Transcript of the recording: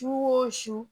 Su o su su